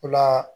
O la